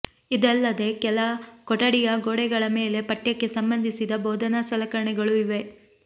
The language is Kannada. ಇದಲ್ಲದೇ ಕೆಲ ಕೊಠಡಿಯ ಗೋಡೆಗಳ ಮೇಲೆ ಪಠ್ಯಕ್ಕೆ ಸಂಬಂಧಿಸಿದ ಬೋಧನಾ ಸಲಕರಣೆಗಳೂ ಇವೆ